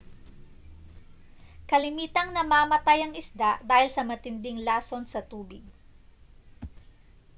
kalimitang namamatay ang isda dahil sa matinding lason sa tubig